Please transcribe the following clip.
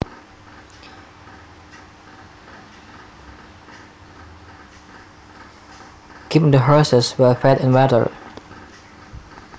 Keep the horses well fed and watered